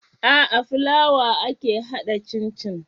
Aa flawa ake hada cin cin